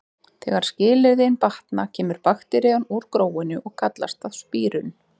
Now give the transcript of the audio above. Þegar skilyrðin batna kemur bakterían úr gróinu og kallast það spírun.